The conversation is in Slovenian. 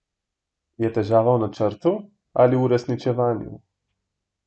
Je težava v načrtu ali v uresničevanju?